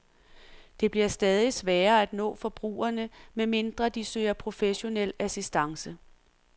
Det bliver stadig sværere at nå forbrugerne, medmindre de søger professionel assistance.